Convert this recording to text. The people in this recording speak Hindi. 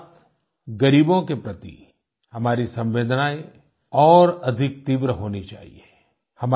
साथसाथ ग़रीबों के प्रति हमारी संवेदनाएँ और अधिक तीव्र होनी चाहिये